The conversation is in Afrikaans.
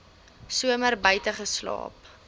somer buite geslaap